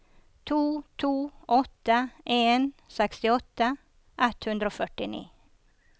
to to åtte en sekstiåtte ett hundre og førtini